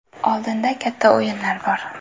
Oldinda katta o‘yinlar bor.